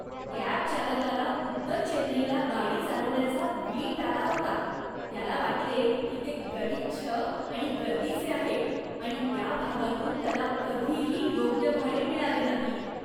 Cab चालकाला उत्तर चेन्नईला गाडी चालवण्याचा वीट आला होता. त्याला वाटले की ते गलिच्छ आणि गर्दीचे आहे, आणि त्या भागातून त्याला कधीही योग्य भाडे मिळाले नाही.